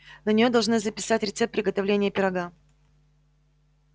на нее должны записать рецепт приготовления пирога